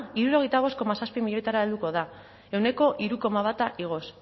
hirurogeita bost koma zazpi milioira helduko da ehuneko hiru koma bat igoz